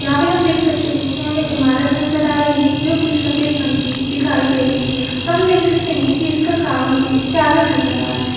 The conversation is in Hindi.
यहाँ पर हम देख सकते है की हमें इमारत नजर आ रही है जो की सफ़ेद रंग की दिखाई दे रही है हम देख सकते है की इसका काम चालू नजर आ रहा है।